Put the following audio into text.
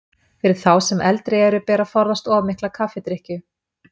Fyrir þá sem eldri eru ber að forðast of mikla kaffidrykkju.